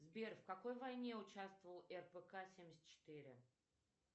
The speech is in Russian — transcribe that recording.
сбер в какой войне участвовал рпк семьдесят четыре